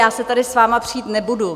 Já se tady s vámi přít nebudu.